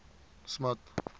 smuts